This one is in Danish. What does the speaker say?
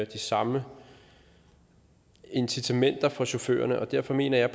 de samme incitamenter for chaufførerne og derfor mener jeg